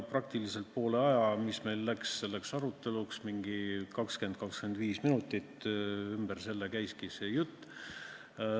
Peaaegu poole ajast, mis meil läks selleks aruteluks, 20–25 minutit, käiski jutt selle ümber.